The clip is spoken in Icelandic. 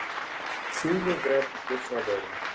Þúfuver í Þjórsárverum.